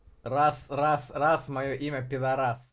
раз-раз-раз моё имя пидорас